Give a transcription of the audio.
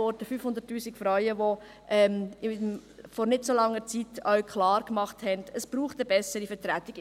500 000 Frauen machten vor nicht allzu langer Zeit klar, dass es eine bessere Vertretung braucht.